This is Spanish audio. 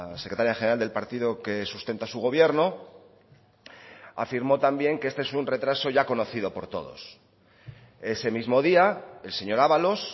secretaria general del partido que sustenta su gobierno afirmó también que este es un retraso ya conocido por todos ese mismo día el señor ábalos